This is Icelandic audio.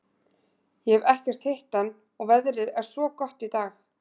Ég hef ekkert hitt hann og veðrið er svo gott í dag.